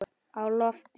Á lofti